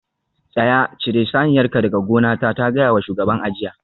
Tsaya! cire saniyarka daga gonata ta gaya wa shugaban a jiya